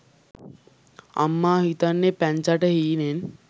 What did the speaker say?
අම්මා හිතන්නෙ පැංචට හීනෙන්